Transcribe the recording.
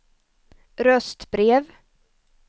röstbrev